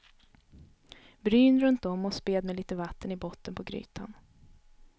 Bryn runt om och späd med lite vatten i botten på grytan.